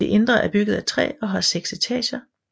Det indre er bygget af træ og har seks etager